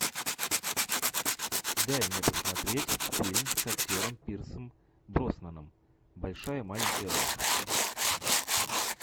дай мне посмотреть фильм с актером пирсом броснаном большая маленькая ложь